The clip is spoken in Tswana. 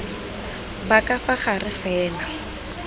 ba ka fa gare fela